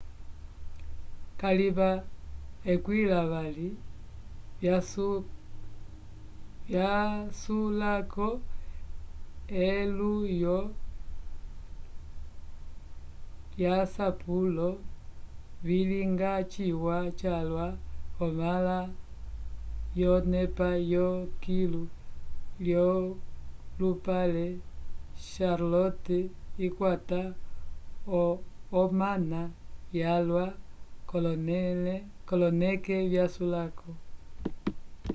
kalima 20 vyasulako elulwo lyasapulo vilinga ciwa calwa k'omãla yonepa yokilu yolupale charlotte ikwata omana valwa k'oloneke vyasulako